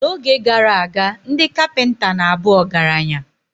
N’oge gara aga, ndị kapinta na abu ọgaranya.